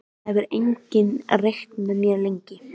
Það hefur enginn reykt með mér lengi.